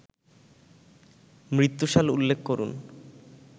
মৃত্যু সাল উল্লেখ করুন